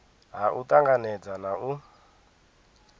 ha u tanganedza na u